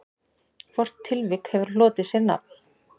Hvort tilvik hefur hlotið sér nafn.